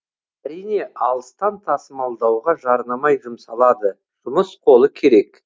әрине алыстан тасымалдауға жарнамай жұмсалады жұмыс қолы керек